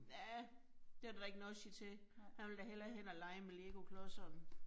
Ja. Det er der da ikke noget at sige til. Han vil da hellere hen og lege med legoklodserne